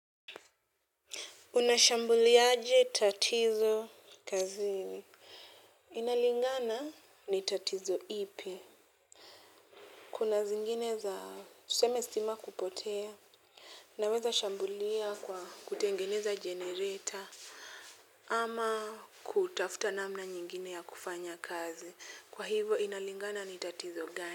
Unashambuliaje tatizo kazini? Inalingana ni tatizo ipi kuna zingine za tuseme sima kupotea naweza shambulia kwa kutengeneza generator ama kutafuta namna nyingine ya kufanya kazi kwa hivo inalingana ni tatizo gani.